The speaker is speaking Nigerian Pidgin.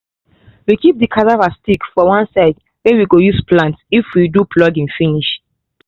we keep the cassava sticks for one side wey we go use plant if we do plucking finish